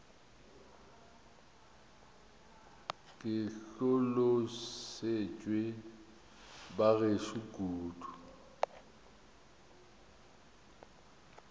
ke hlolosetšwe ba gešo kudu